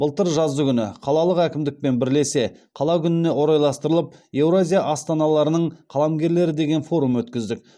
былтыр жаздыгүні қалалық әкімдікпен бірлесе қала күніне орайластырылып еуразия астаналарының қаламгерлері деген форум өткіздік